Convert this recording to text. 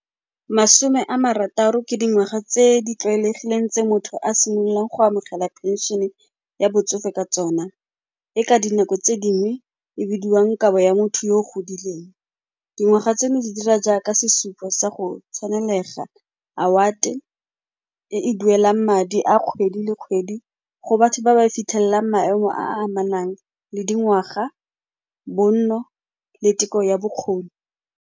Masome a marataro ke dingwaga tse di tlwaelegileng tse motho a simololang go amogela pension-e ya botsofe ka tsona, e ka dinako tse dingwe e bidiwang kabo ya motho yo o godileng. Dingwaga tseno di dira jaaka sesupo sa go tshwanelega, award-e e e duelang madi a kgwedi le kgwedi go batho ba ba fitlhellang maemo a a amanang le dingwaga, bonno le teko ya bokgoni.